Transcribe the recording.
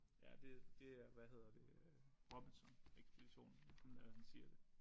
Ja det det er hvad hedder det øh Robinson Ekspeditionen han øh han siger det